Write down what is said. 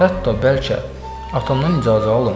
Hətta bəlkə atamdan icazə alım.